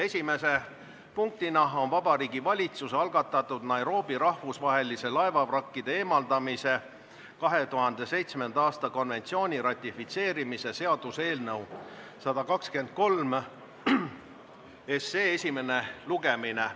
Esimene punkt on Vabariigi Valitsuse algatatud Nairobi rahvusvahelise laevavrakkide eemaldamise 2007. aasta konventsiooni ratifitseerimise seaduse eelnõu 123 esimene lugemine.